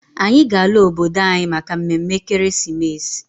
Anyị ga-ala obodo anyị maka mme mme ekeresimesi.